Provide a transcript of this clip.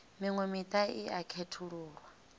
miṅwe miṱa i a khethululwa